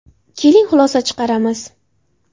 Keling, xulosa chiqaramiz.